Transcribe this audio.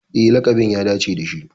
E, laƙabin ya dace da shi.